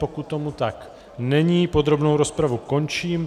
Pokud tomu tak není, podrobnou rozpravu končím.